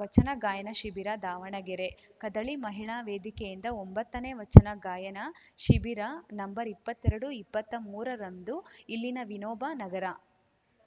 ವಚನ ಗಾಯನ ಶಿಬಿರ ದಾವಣಗೆರೆ ಕದಳಿ ಮಹಿಳಾ ವೇದಿಕೆಯಿಂದ ಒಂಬತ್ತನೇ ವಚನ ಗಾಯನ ಶಿಬಿರ ನಂಬರ್ ಇಪ್ಪತ್ತೆರಡು ಇಪ್ಪತ್ತಾ ಮೂರರಂದು ಇಲ್ಲಿನ ವಿನೋಬ ನಗರ